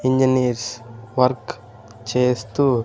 engineers work చేస్తూ--